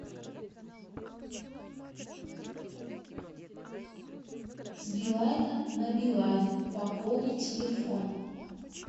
с билайна на билайн пополни телефон